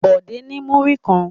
Bọ̀dé ní múrí kan.